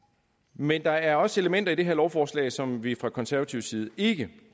men der er også elementer i det her lovforslag som vi fra konservativ side ikke